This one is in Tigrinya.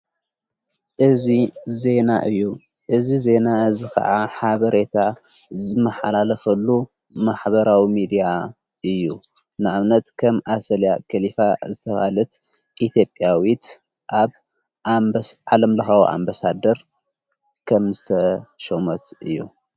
እዝ ዜና እዩ እዝ ዜና እዝ ኸዓ ሓበሬታ መሓላለፈሉ ማኅበራዊ ሚድያ እዩ ንዕብነት ከም ኣሰልያ ከሊፋ ዘተባልት ኢቲብያዊት ኣብ ዓለምለኻዊ ኣምበሳደር ከም ዝተሸሞት እዩ።